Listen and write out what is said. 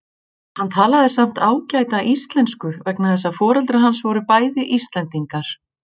Hann talaði samt ágæta Íslensku vegna þess að foreldrar hans voru bæði Íslendingar.